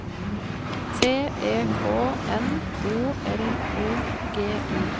T E K N O L O G I